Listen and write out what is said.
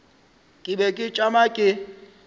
ke be ke tšama ke